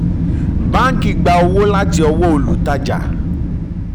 báńkì gbà owó láti ọwọ́ olùtajà